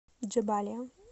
джебалия